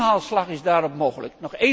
Een inhaalslag is daar mogelijk.